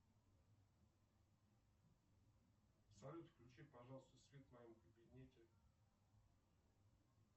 салют включи пожалуйста свет в моем кабинете